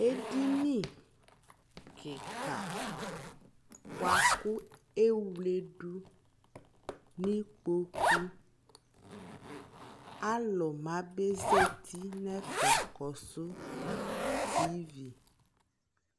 ɛdini kikaa bʋakʋ ɛwlɛdu nʋ ikpɔkʋ nʋ alʋ ma bɛ zati nʋɛƒɛkɔsʋ TV